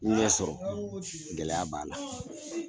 N ɲɛ sɔrɔ gɛlɛya b'a la